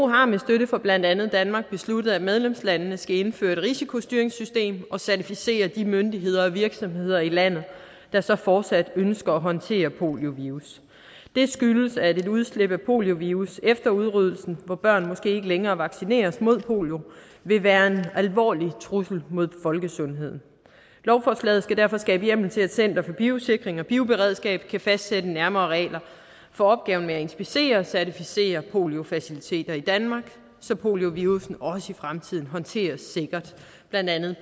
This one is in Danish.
har med støtte fra blandt andet danmark besluttet at medlemslandene skal indføre et risikostyringssystem og certificere de myndigheder og virksomheder i landet der så fortsat ønsker at håndtere poliovirus det skyldes at et udslip af poliovirus efter udryddelsen hvor børn måske ikke længere vaccineres mod polio vil være en alvorlig trussel mod folkesundheden lovforslaget skal derfor skabe hjemmel til at center for biosikring og bioberedskab kan fastsætte nærmere regler for opgaven med at inspicere og certificere poliofaciliteter i danmark så poliovirussen også i fremtiden håndteres sikkert blandt andet